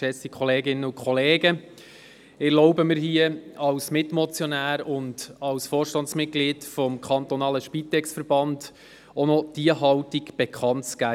Ich spreche als Mitmotionär und als Vorstandsmitglied des Spitex-Verbands Kanton Bern, um auch noch diese Haltung bekanntzugeben.